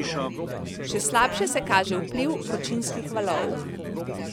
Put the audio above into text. Še slabše se kaže vpliv vročinskih valov.